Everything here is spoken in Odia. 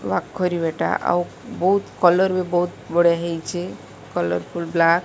ୱାକ କରିବା ଟା ଆଉ ବୋହୁତ କଲର୍ ବୋହୁତ ବଢିଆ ହୋଇଚି କଲର୍ଫୁଲ ବ୍ଲାକ୍ ।